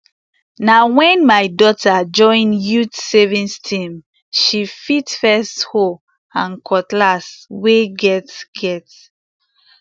na wen my daughter join youth savings team she fit first hoe and cutless wey get get